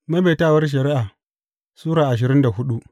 Maimaitawar Shari’a Sura ashirin da hudu